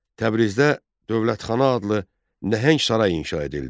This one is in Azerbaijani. Təbrizdə Dövlətxana adlı nəhəng saray inşa edildi.